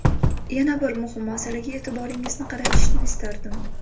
Yana bir muhim masalaga e’tiboringizni qaratishni istardim.